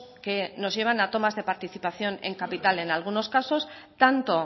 que nos llevan a tomas de participación de capital en algunos casos tanto